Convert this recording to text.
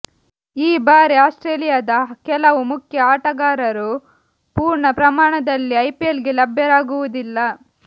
ಈ ಬಾರಿ ಆಸ್ಟ್ರೇಲಿಯದ ಕೆಲವು ಮುಖ್ಯ ಆಟಗಾರರು ಪೂರ್ಣ ಪ್ರಮಾಣದಲ್ಲಿ ಐಪಿಎಲ್ಗೆ ಲಭ್ಯರಾಗುವುದಿಲ್ಲ